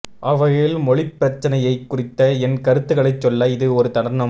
அவ்வகையில் மொழிப்பிரச்சினையைக் குறித்த என் கருத்துக்களை சொல்ல இது ஒரு தருணம்